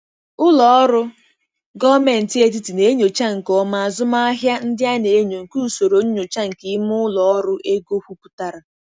Ụlọ ọrụ gọọmenti etiti na-enyocha nke ọma azụmahịa ndị a na-enyo nke usoro nyocha nke ime ụlọ ọrụ ego kwupụtara.